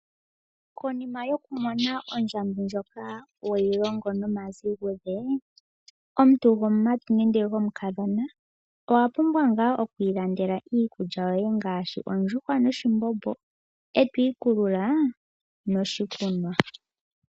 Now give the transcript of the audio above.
Konima yoku mona ondjambi ndjoka weyi longo nomazigudhe, omuntu gomumati nenge gomukadhona owa pumbwa ngaa oku ilandela iikulya yoye ngaashi ondjuhwa noshimbombo e to ikulula noshikunwa.